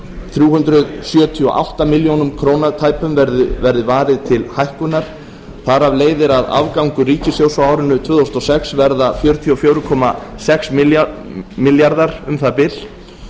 þrjú hundruð sjötíu og átta milljónir króna verði varið til hækkunar þar af leiðir að afgangur ríkissjóðs frá árinu tvö þúsund og sex verða fjörutíu og fjögur komma sex milljarðar um það bil